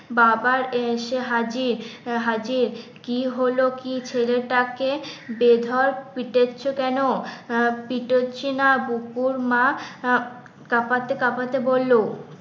বাবা এসে হাজির হাজির কি হলো কি ছেলেটাকে বেধড়ক পিটাচ্ছ কেন? আহ পিটাচ্ছি না, বুকুর মা আহ কাঁপাতে কাঁপাতে বললো